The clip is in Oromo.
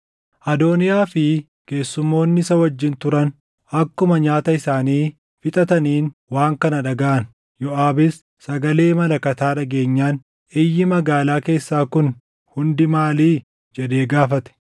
Adooniyaa fi keessummoonni isa wajjin turan akkuma nyaata isaanii fixataniin waan kana dhagaʼan. Yooʼaabis sagalee malakataa dhageenyaan, “Iyyi magaalaa keessaa kun hundi maalii?” jedhee gaafate.